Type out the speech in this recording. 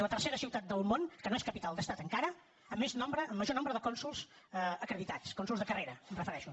és la tercera ciutat del món que no és capital d’estat encara amb més nombre amb major nombre de cònsols acreditats a cònsols de carrera em refereixo